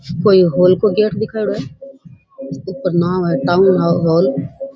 कोई हॉल को गेट दिखरो है जिसके ऊपर नाम है टाउन हॉल ।